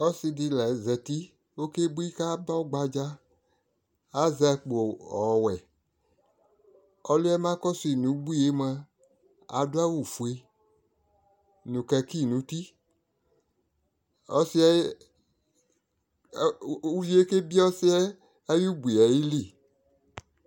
ɔse di la zati okebui ko aba ɔgba dza azɛ akpo ɔwɛ ko ɔliɛ ma kɔso yi no ubuie moa ado awo fue no kaki no uti ɔsiɛ uvie ke biɛ ɔsiɛ ayi ubuie ayili